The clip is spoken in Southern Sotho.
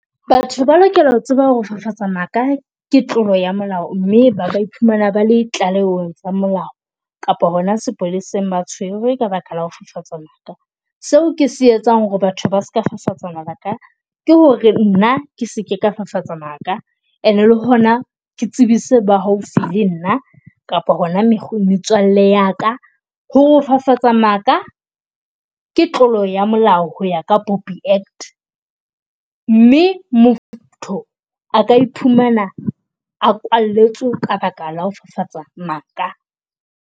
Batho ba lokela ho tseba ho fafatsa maka ke tlolo ya molao mme ba iphumana ba le tlalehong tsa molao kapa hona sepoleseng ba tshwerwe ka baka la ho fafatsa maka. Seo ke se etsang hore batho ba ska fafatsa maka ke hore nna ke seke ka fafatsa maka and le hona ke tsebise ba haufi le nna kapa hona metswalle ya ka. Ho fafatsa maka ke tlolo ya molao ho ya ka POPI Act, mme motho a ka iphumana a kwalletswe ka baka la ho fafatsa maka.